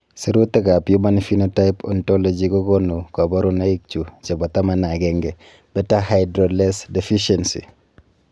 Sirutikab Human Phenotype Ontology kokonu koborunoikchu chebo 11 beta hydroxylase deficiency.